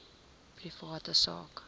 privaat sak